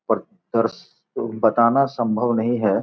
पर बताना संभव नहीं है।